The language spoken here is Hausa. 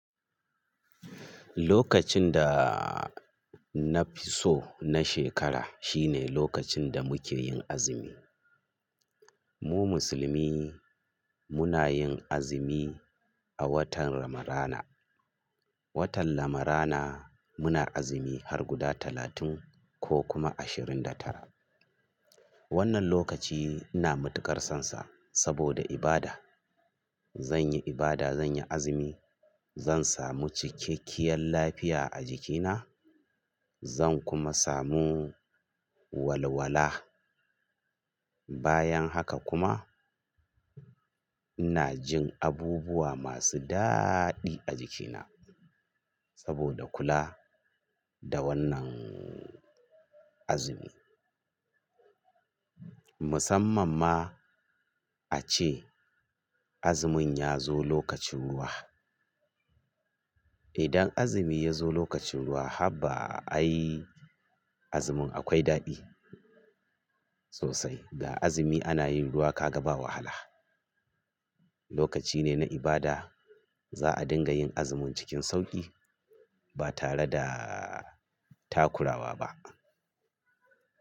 Lokacin da na fi so na shekara shine lokacin da muke yin azumi. Mu musulmi muna yin azumi a watan Ramadana. Watan Ramadana muna azumi har guda talatin ko kuma ashirin da tara. Wannan lokaci ina matukar sonsa saboda ibada. Zan yi ibada, zan yi azumi, zan samu cikakkiyar lafiya a jikina, zan kuma samu walwala. Bayan haka kuma ina jin abubuwa masu daɗi a jikina saboda kula da wannan azumi. Musamman ma a ce azumin ya zo lokacin ruwa. Idan azumi ya zo lokacin ruwa haba ai azumin akwai daɗi sosai. Da azumi ana yin ruwa ka ga bawa wahala. Lokaci ne na ibada za a dinga yin azumin cikin sauƙi ba tare da takurawa ba.